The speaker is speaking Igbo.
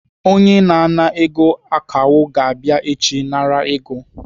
Onye na-ana ego akawo ga-abịa echi nara ego.